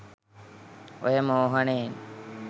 ඔය මෝහනයෙන්